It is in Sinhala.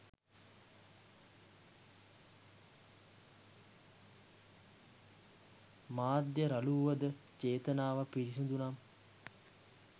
මාධ්‍ය රළු වුවද චේතනාව පිරිසුදු නම්